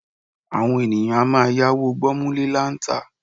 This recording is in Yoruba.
Àwọn ènìyàn a máa yáwó gbọ́múlé-láńtà.